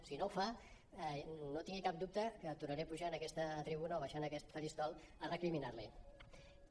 si no ho fa no tingui cap dubte que tornaré a pujar en aquesta tribuna o baixar en aquest faristol a recriminar l’hi